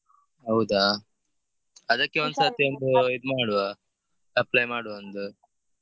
ಹೌದಾ ಅದಕ್ಕೆ ಮಾಡುವ apply ಮಾಡುವ ಒಂದು.